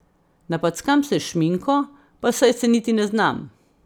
Napackam se s šminko, pa saj se niti ne znam.